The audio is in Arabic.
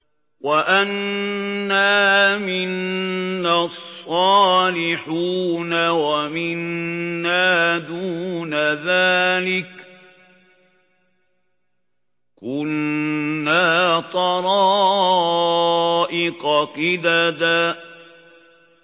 وَأَنَّا مِنَّا الصَّالِحُونَ وَمِنَّا دُونَ ذَٰلِكَ ۖ كُنَّا طَرَائِقَ قِدَدًا